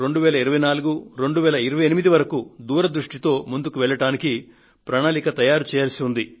2020 2024 2028 వరకు దూరదృష్టితో ముందుకు వెళ్లడానికి ప్రణాళికను తయారుచేయవలసి ఉంది